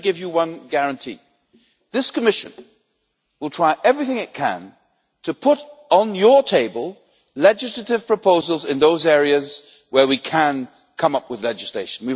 But let me give you one guarantee this Commission will try everything it can to put on your table legislative proposals in those areas where we can come up with legislation.